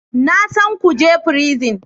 Na san kuje prison